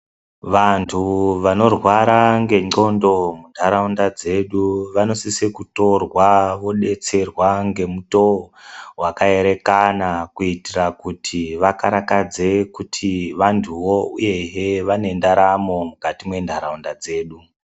Vantu vanorwara ngendxondo muntaraunda dzedu vanosise kutorwa vobetserwa ngemutoo vakaerekana. Kuitira kuti vakarakadze kuti vantuvo uyehe nendaramo mukati menharaunda dzedu.